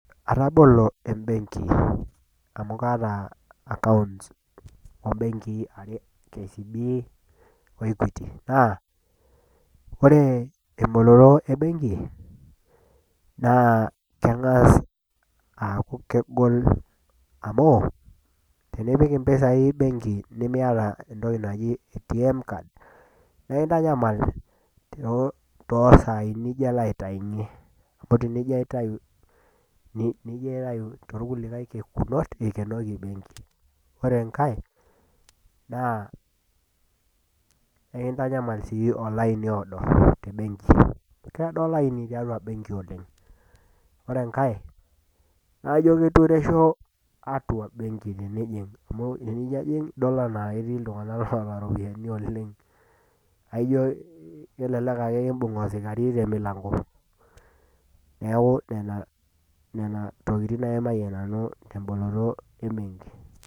Atabolo embenki, amu kaata akaounts oo imbenkii are. KCB o Equity, naa kore emboloto embengi naa keng'as aaku kegol amu, tenipik impisai embenki nimiata entoki naji ATM card, naa kintanyamal too isaai nijo ilo aitayunye. Amu ijo kaitayu toolkulie kekunot, neikenoki embenki. Ore enka naa, ekintanyamal sii olaaini oado tembenki. Keado olaini tiatua embenki oleng'. Ore enkai, naa kaijo eitureisho atua embenki tenijing' amu ore pee ijo ijing' nidol ajo ketiu anaa ketii iltung'ana oata iropiani oleng', naa ijo elelek ake kiimbung' osikari te emilanko. Neaku nena tokitin aimayie nanu temboloto embenki.